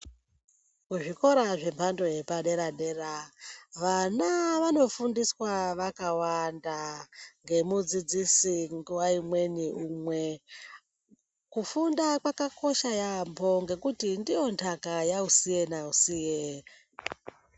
Kuzvikora zvemhando yepadera dera vana vanofundiswa vakawanda ngemudzidzisi nguwa imweni umwe. Kufunda kwakakosha yambo ngekuti ndiyo ntaka yausiye nausiye.